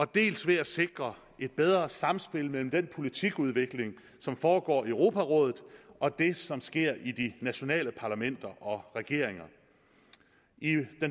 dels ved at sikre et bedre samspil mellem den politikudvikling som foregår i europarådet og det som sker i de nationale parlamenter og regeringer i den